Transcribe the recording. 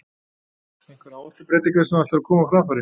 Einhverjar áherslubreytingar sem þú ætlar að koma á framfæri?